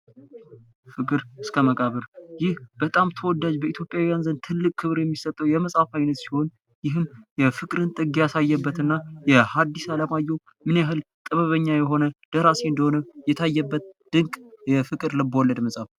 ፍቅር እስከ መቃብር ይህ በጣም ተወዳጅ በኢትዮጵያን ዘንድ ትልቅ ክብር የሚሰጠው የመጽሀፍ አይነት ሲሆን ይህም የፍቅርን ጥግ ያሳየበት እና የሀዲስ አለማየሁ ምን ያህል ጥበበኛ የሆነ ደራሲ እንደሆነ የታየበት ድንቅ የፍቅር ልብወለድ መፅሐፍ ነው።